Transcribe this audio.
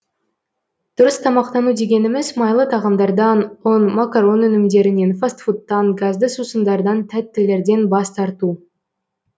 дұрыс тамақтану дегеніміз майлы тағамдардан ұн макарон өнімдерінен фаст фудтан газды сусындардан тәттілерден бас тарту